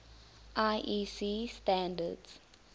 iec standards